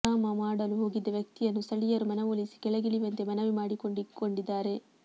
high drama ಮಾಡಲು ಹೋಗಿದ್ದ ವ್ಯಕ್ತಿಯನ್ನು ಸ್ಥಳೀಯರು ಮನವೊಲಿಸಿ ಕೆಳಗಿಳಿಯುವಂತೆ ಮನವಿ ಮಾಡಿಕೊಂಡಿಕ್ಕೊಂಡಿದ್ದಾರೆ